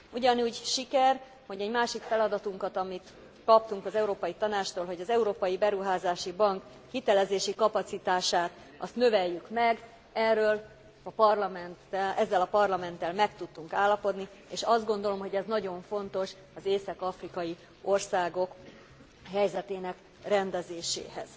Ugyanúgy siker, hogy egy másik feladatunkat, amit kaptunk az Európai Tanácstól, hogy az Európai Beruházási Bank hitelezési kapacitását azt növeljük meg, ezzel a Parlamenttel meg tudtunk állapodni, és azt gondolom, hogy ez nagyon fontos az észak afrikai országok helyzetének rendezéséhez.